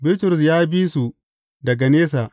Bitrus ya bi su daga nesa.